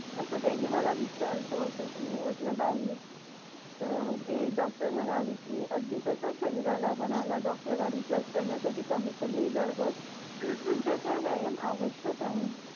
असं त्यांनी मला विचारला होता मी म्हंटलं नाही तर ते डॉक्टर म्हणालेकी अगदीच तसेच शरीराला मनाला डोकयाला रिचार्जे करण्यासाठी कमीत कमी जवळ जवळ तीस मिनिटाचे व्यायाम आवश्यक आहे